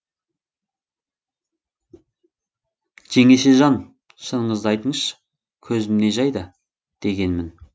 жеңешежан шыныңызды айтыңызшы көзім не жайда дегенмін